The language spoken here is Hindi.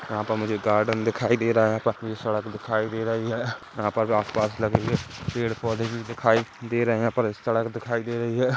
यहाँ पर मुझे गार्डन दिखाई दे रहा है यहाँ पे मुझे सड़क दिखाई दे रही है यहाँ पर आस पास लगे हुए पेड़ पौधे भी दिखाई दे रहे है पतली सड़क दिखाई दे रही है।